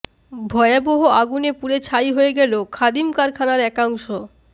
ভয়াবহ আগুনে পুড়ে ছাই হয়ে গেল খাদিম কারখানার একাংশ